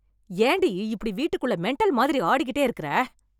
ஏண்டி இப்படி வீட்டுக்குள்ள மெண்டல் மாதிரி ஆடிக்கிட்டே இருக்கற?